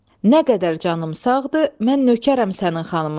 Nə qədər canım sağdır, mən nökərəm sənin xanımına.